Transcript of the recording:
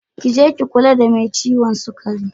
Ki je ki kula da mai ciwon sukari.